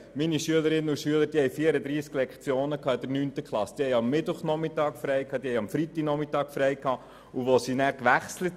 Diese hatten in der 9. Klasse 34 Lektionen Unterricht, und am Mittwoch- und Freitagnachmittag hatten sie schulfrei.